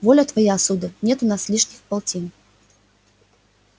воля твоя сударь нет у нас лишних полтин